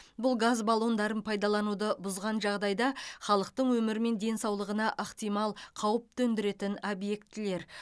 бұл газ баллондарын пайдалануды бұзған жағдайда халықтың өмірі мен денсаулығына ықтимал қауіп төндіретін объектілер